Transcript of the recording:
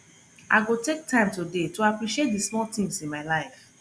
i go take time today to appreciate di small things in my life